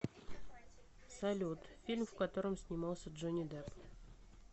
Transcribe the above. салют фильм в котором снимался джонни дэпп